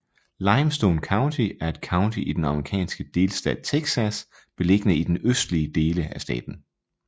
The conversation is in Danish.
Limestone County er et county i den amerikanske delstat Texas beliggende i den østlige dele af staten